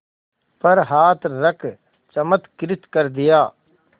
पर हाथ रख चमत्कृत कर दिया